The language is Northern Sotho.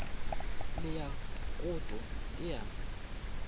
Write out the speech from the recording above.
le ya koto e a